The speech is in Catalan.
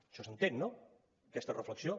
això s’entén no aquesta reflexió